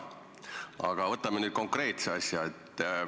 Aga võtame nüüd konkreetse asja.